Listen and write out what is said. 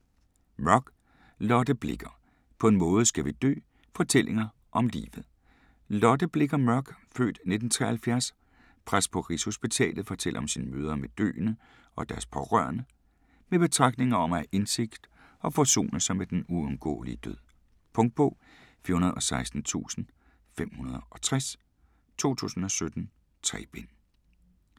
Mørk, Lotte Blicher: På en måde skal vi dø: fortællinger om livet Lotte Blicher Mørk (f. 1973), præst på Rigshospitalet, fortæller om sine møder med døende og deres pårørende, med betragtninger om at have indsigt og forsone sig med den uundgåelige død. Punktbog 416560 2017. 3 bind.